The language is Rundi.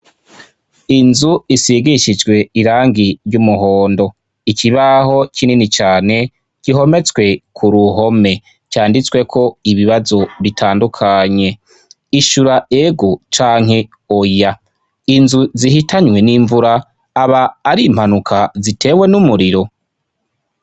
Inzu isigishijwe irangi ry'umuhondo ikibaho kinini cane gihometswe ku ruhome canditsweko ibibazo bitandukanye ishura egO canke oya inzu zihitanywe n'imvura aba ari Impanuka zitewe n'umuriro.